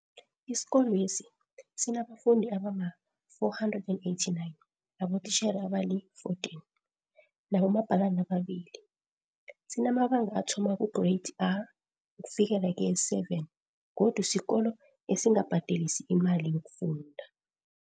Isikolwesi sinabafundi abama-489, abotitjhere abali14, nabomabhalani ababili. Sinamabanga athoma kuGreyidi R ukufikela keye-7 godu sikolo esingabhadelisi imali yokufunda.